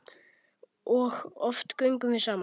Og oft göngum við saman.